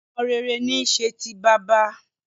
Ọmọ rere ní í ṣe ti bàbá